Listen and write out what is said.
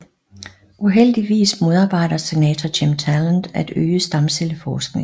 Uheldigvis modarbejder Senator Jim Talent at øge stamcelleforskningen